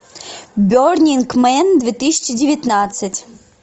бернинг мен две тысячи девятнадцать